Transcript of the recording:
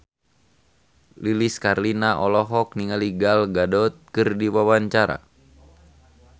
Lilis Karlina olohok ningali Gal Gadot keur diwawancara